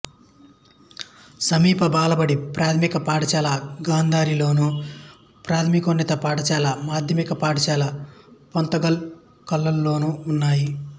సమీప బాలబడి ప్రాథమిక పాఠశాల గాంధారిలోను ప్రాథమికోన్నత పాఠశాల మాధ్యమిక పాఠశాల పోతంగల్ కలాన్లోనూ ఉన్నాయి